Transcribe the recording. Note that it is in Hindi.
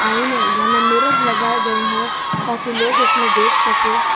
आईने यानि मिरर लगाए गए हैं ताकि लोग उसमें देख सकें।